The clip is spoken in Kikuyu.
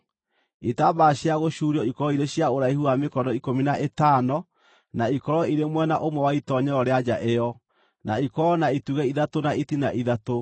Itambaya cia gũcuurio ikorwo irĩ cia ũraihu wa mĩkono ikũmi na ĩtano na ikorwo irĩ mwena ũmwe wa itoonyero rĩa nja ĩyo, na ikorwo na itugĩ ithatũ na itina ithatũ,